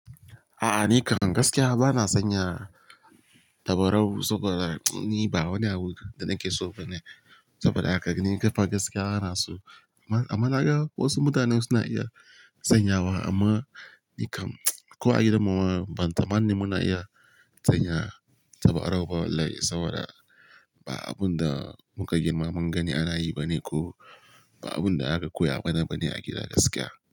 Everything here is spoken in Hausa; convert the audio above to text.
A'a, ni kam gaskiya ba na san yara tabarau saboda ni ba wani abu da nake so bane. Saboda haka ni kam fa gaskiya bana so. Amma, naga wasu mutanen su na iya sanyawa amma ni kam ko a gidan mu ma, ban tsammanin mun a iya sanya tabarau ba, wallahi saboda ba abun da muka girma mun gani ana yi bane ko ba abun da aka koya mana bane a gida gaskiya.